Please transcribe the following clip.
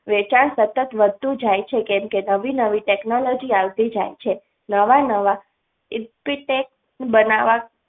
વેચાણ સતત વધતું જાય છે કેમ કે નવી નવી technology આવતી જાય છે નવા નવા બનાવવા